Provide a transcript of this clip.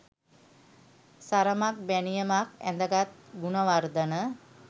සරමක් බැනියමක් ඇඳගත් ගුණවර්ධන